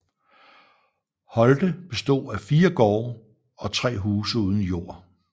Holte bestod af fire gårde og tre huse uden jord